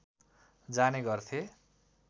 जाने गर्थे